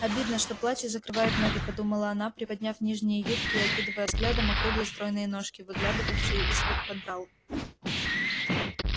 обидно что платье закрывает ноги подумала она приподняв нижние юбки и окидывая взглядом округлые стройные ножки выглядывавшие из-под панталон